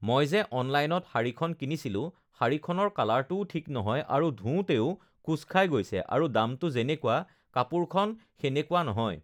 মই যে অনলাইনত শাৰীখন কিনিছিলোঁ শাৰীখনৰ কালাৰটোও ঠিক নহয় আৰু ধুওঁতেও কোচ খাই গৈছে আৰু দামটো যেনেকুৱা ugh কাপোৰখন সেনেকুৱা নহয়